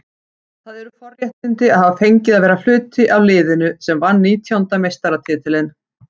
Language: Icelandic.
Það eru forréttindi að hafa fengið að vera hluti af liðinu sem vann nítjánda meistaratitilinn.